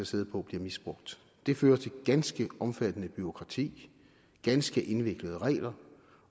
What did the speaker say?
sidde på bliver misbrugt det fører til ganske omfattende bureaukrati ganske indviklede regler